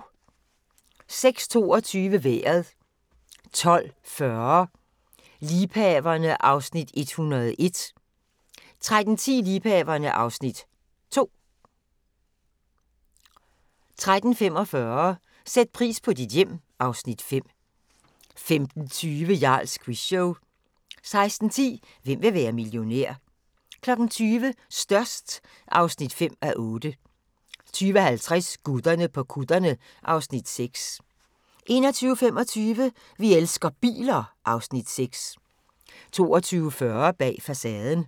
06:22: Vejret 12:40: Liebhaverne (Afs. 101) 13:10: Liebhaverne (Afs. 2) 13:45: Sæt pris på dit hjem (Afs. 5) 15:20: Jarls Quizshow 16:10: Hvem vil være millionær? 20:00: Størst (5:8) 20:50: Gutterne på kutterne (Afs. 6) 21:25: Vi elsker biler (Afs. 6) 22:40: Bag facaden